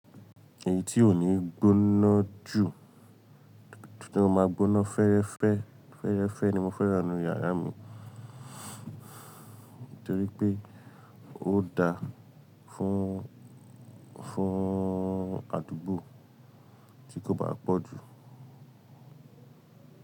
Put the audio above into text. Èyí tí ò ní gbóná jù, to máa gbóná fẹ́ẹ́rẹ́fẹ́, fẹ́ẹ́rẹ́fẹ́ ni mo fẹ́ran ninu yàrá mi. Nítorí pé ó da fún, fún àdúgbò tí kò bá pọ̀ jù.